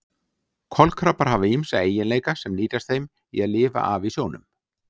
Kolkrabbar hafa ýmsa eiginleika sem nýtast þeim í að lifa af í sjónum.